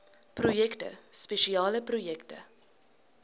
projekte spesiale projekte